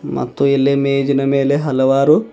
ತೋ ಇಲ್ಲೇ ಮೇಜಿನ ಮೇಲೆ ಹಲವರು.